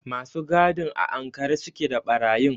Masu gadin a ankare su ke da ɓarayi.